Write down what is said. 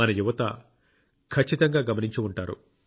మన యువత ఖచ్చితంగా గమనించి ఉంటారు